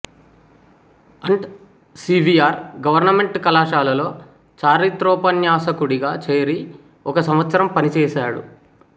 and C V R government కళాశాలలో చారిత్రోపన్యాసకుడిగా చేరి ఒక సంవత్సరం పనిచేశాడు